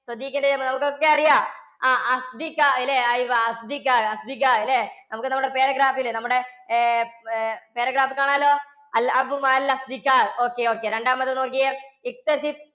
നമുക്കൊക്കെ അറിയാം ല്ലേ? നമുക്ക് നമ്മുടെ paragraph ല്ലേ നമ്മുടെ ഏർ paragraph ൽ കാണാമല്ലോ. okay, okay. രണ്ടാമത്തെ നോക്കിക്കേ